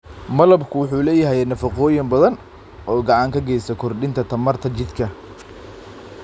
Malabku waxa uu leeyahay nafaqooyin badan oo gacan ka geysta kordhinta tamarta jidhka.